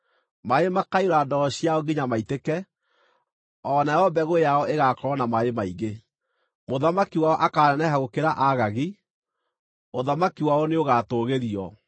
Maaĩ makaiyũra ndoo ciao nginya maitĩke; o nayo mbegũ yao ĩgakorwo na maaĩ maingĩ. “Mũthamaki wao akaaneneha gũkĩra Agagi; ũthamaki wao nĩũgaatũgĩrio.